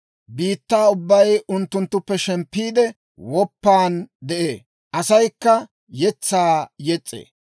Biittaa ubbay unttunttuppe shemppiide, woppan de'ee; asaykka yetsaa yes's'ee.